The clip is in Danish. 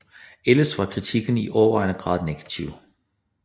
Ellers var kritikken i overvejende grad negativ